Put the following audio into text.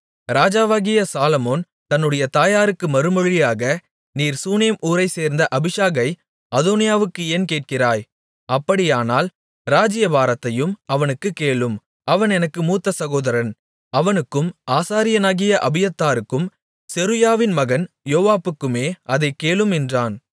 ராஜாவாகிய சாலொமோன் தன்னுடைய தாயாருக்கு மறுமொழியாக நீர் சூனேம் ஊரைச்சேர்ந்த அபிஷாகை அதோனியாவுக்கு ஏன் கேட்கிறாய் அப்படியானால் ராஜ்ஜியபாரத்தையும் அவனுக்குக் கேளும் அவன் எனக்கு மூத்த சகோதரன் அவனுக்கும் ஆசாரியனாகிய அபியத்தாருக்கும் செருயாவின் மகன் யோவாபுக்குமே அதைக் கேளும் என்றான்